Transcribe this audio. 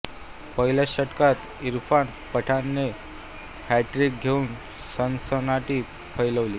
पहिल्याच षटकात इरफान पठाणने हॅटट्रिक घेउन सनसनाटी फैलावली